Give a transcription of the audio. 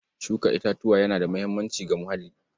Shuka itatuwa yana da muhimmanci ga muhalli.